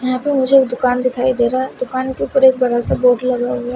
यहां पे मुझे दुकान दिखाई दे रहा है दुकान के ऊपर एक बड़ा सा बोर्ड लगा है।